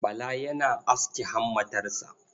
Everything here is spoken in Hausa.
Bala yana aske hammatarsa.